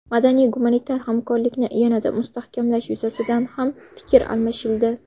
Madaniy-gumanitar hamkorlikni yanada mustahkamlash yuzasidan ham fikr almashildi.